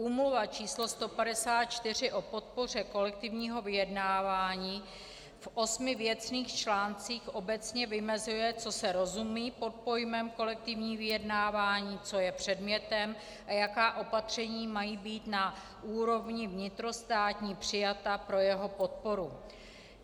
Úmluva č. 154 o podpoře kolektivního vyjednávání v osmi věcných článcích obecně vymezuje, co se rozumí pod pojmem kolektivní vyjednávání, co je předmětem a jaká opatření mají být na úrovni vnitrostátní přijata pro jeho podporu.